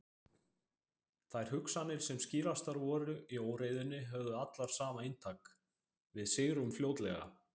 Þær hugsanir sem skýrastar voru í óreiðunni höfðu allar sama inntak: Við sigrum fljótlega.